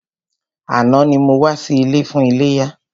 Àná ni mo wá sí ilé fún iléyá.